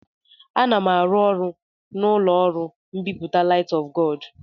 Ana m arụ ọrụ n'ụlọ ọrụ mbipụta Light of God.